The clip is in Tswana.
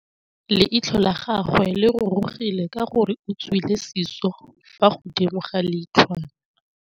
Leitlhô la gagwe le rurugile ka gore o tswile sisô fa godimo ga leitlhwana.